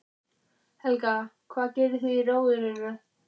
Helga: Hvað gerið þið í Rjóðrinu?